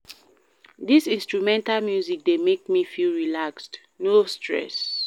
Dis instrumental music dey make me feel relaxed, no stress.